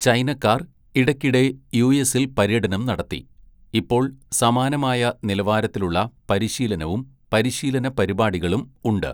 ചൈനക്കാർ ഇടയ്ക്കിടെ യുഎസിൽ പര്യടനം നടത്തി, ഇപ്പോൾ സമാനമായ നിലവാരത്തിലുള്ള പരിശീലനവും പരിശീലന പരിപാടികളും ഉണ്ട്.